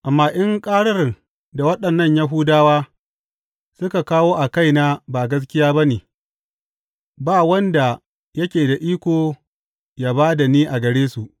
Amma in ƙarar da waɗannan Yahudawa suka kawo a kaina ba gaskiya ba ne, ba wanda yake da iko ya ba da ni a gare su.